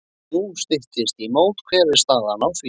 Nú styttist í mót og hver er staðan á því?